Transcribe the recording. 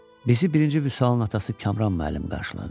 Bizi birinci Vüsalın atası Kamran müəllim qarşıladı.